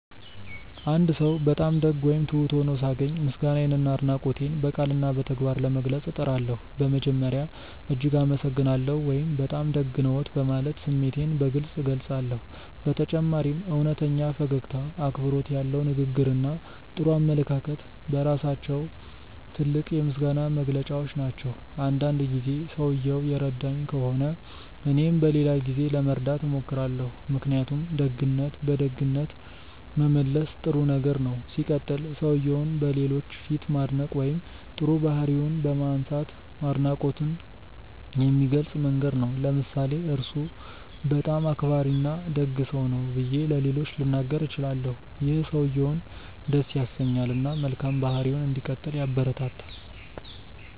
አንድ ሰው በጣም ደግ ወይም ትሁት ሆኖ ሳገኝ ምስጋናዬንና አድናቆቴን በቃልና በተግባር ለመግለጽ እጥራለሁ። በመጀመሪያ "እጅግ አመሰግናለሁ" ወይም “በጣም ደግ ነዎት” በማለት ስሜቴን በግልጽ እገልጻለሁ። በተጨማሪም እውነተኛ ፈገግታ፣ አክብሮት ያለው ንግግር እና ጥሩ አመለካከት በራሳቸው ትልቅ የምስጋና መግለጫዎች ናቸው። አንዳንድ ጊዜ ሰውየው የረዳኝ ከሆነ እኔም በሌላ ጊዜ ለመርዳት እሞክራለሁ። ምክንያቱም ደግነትን በደግነት መመለስ ጥሩ ነገር ነው። ሲቀጥል, ሰውየውን በሌሎች ፊት ማድነቅ ወይም ጥሩ ባህሪውን ማንሳት አድናቆትን የሚገልጽ መንገድ ነው። ለምሳሌ "እርሱ በጣም አክባሪና ደግ ሰው ነው" ብዬ ለሌሎች ልናገር እችላለሁ። ይህ ሰውየውን ደስ ያሰኛል እና መልካም ባህሪውን እንዲቀጥል ያበረታታል።